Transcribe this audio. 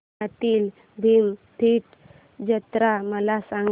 पुण्यातील भीमथडी जत्रा मला सांग